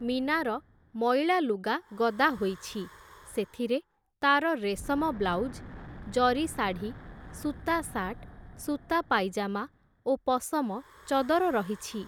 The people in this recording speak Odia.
ମୀନାର ମଇଳା ଲୁଗା ଗଦା ହୋଇଛି, ସେଥିରେ ତାର ରେଶମ ବ୍ଲାଉଜ୍, ଜରିଶାଢ଼ୀ ସୂତା ସାର୍ଟ, ସୂତା ପାଇଜାମା ଓ ପଶମ ଚଦର ରହିଛି ।